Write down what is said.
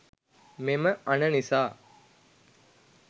මෙම අණ නිසා